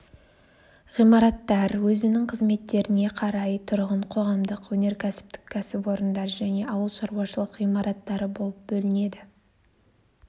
ғимараттар өзінің қызметтеріне қарай тұрғын қоғамдық өнеркәсіптік кәсіпорындар және ауылшаруашылық ғимараттары болып бөлінеді